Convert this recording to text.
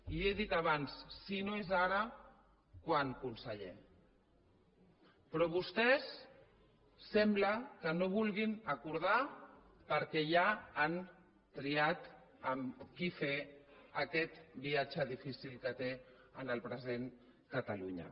li ho he dit abans si no és ara quan conseller però vostès sembla que no ho vulguin acordar perquè ja han triat amb qui fer aquest viatge difícil que té en el present catalunya